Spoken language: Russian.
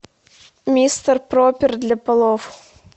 мистер пропер для полов